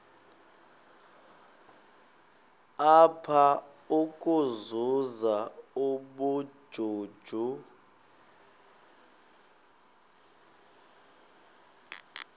apha ukuzuza ubujuju